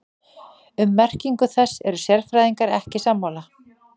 Um merkingu þess eru sérfræðingar ekki sammála.